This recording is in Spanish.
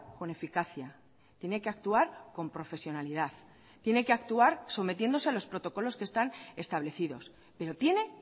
con eficacia tiene que actuar con profesionalidad tiene que actuar sometiéndose a los protocolos que están establecidos pero tiene